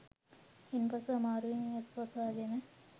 ඉන් පසු අමාරුවෙන් ඇස් වසා ගෙන